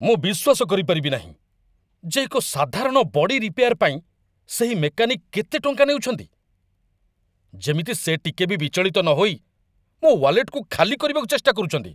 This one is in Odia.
ମୁଁ ବିଶ୍ୱାସ କରିପାରିବି ନାହିଁ ଯେ ଏକ ସାଧାରଣ ବଡ଼ି ରିପେୟାର୍ ପାଇଁ ସେହି ମେକାନିକ୍ କେତେ ଟଙ୍କା ନେଉଛନ୍ତି! ଯେମିତି ସେ ଟିକେ ବି ବିଚଳିତ ନହୋଇ ମୋ ୱାଲେଟ୍‌କୁ ଖାଲି କରିବାକୁ ଚେଷ୍ଟା କରୁଛନ୍ତି!